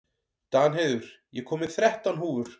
Danheiður, ég kom með þrettán húfur!